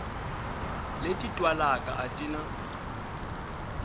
leti twalaka a ti na